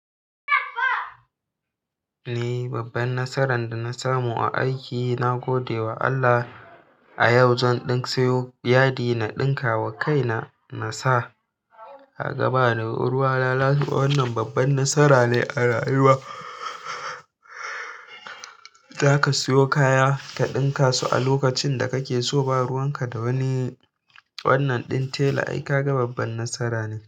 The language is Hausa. Ni babban nasaran dana samu a aiki na gode wa Allah. A yau zan ɗan siyo yadi na ɗinka wa kaina. Na sa. Ka ga ba ni ruwa lalata. Wannan babban nasara ne a rayuwa. Za ka siyo kaya ka ɗinka su a lokacin da kake so. Ba ruwan ka da wani wannan ɗin tela. Ai ka ga babban nasara ne.